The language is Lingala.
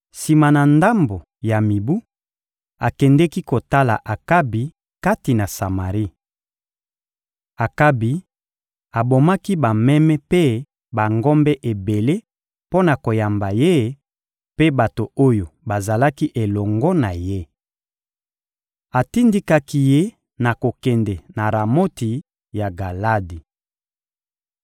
Sima na ndambo ya mibu, akendeki kotala Akabi kati na Samari. Akabi abomaki bameme mpe bangombe ebele mpo na koyamba ye mpe bato oyo bazalaki elongo na ye. Atindikaki ye na kokende na Ramoti ya Galadi.